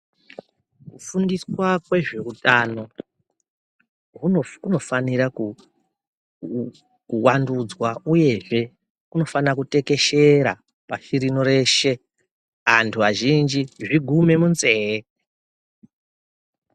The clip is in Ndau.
Kufundiswa kwezveutano, kunofa kunofanira ku ku kuvandudzwa uyezve kunofana kutekeshera pashi rino reshe, anthu eshe zvigume munzeye.